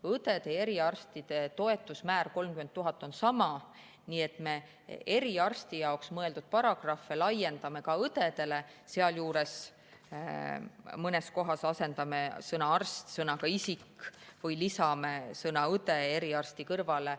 Õdede ja eriarstide toetuse määr, 30 000, on sama, nii et me eriarstide jaoks mõeldud paragrahve laiendame ka õdedele, sealjuures mõnes kohas asendame sõna "arst" sõnaga "isik" või lisame sõna "õde" sõna "eriarst" kõrvale.